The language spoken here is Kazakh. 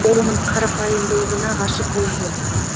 ол оның карапайымдылығына ғашық болып еді